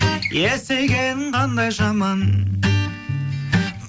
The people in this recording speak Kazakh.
есейген қандай жаман